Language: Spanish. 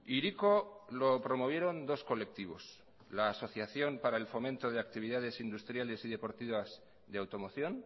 hiriko lo promovieron dos colectivos la asociación para el fomento de actividades industriales y deportivas de automoción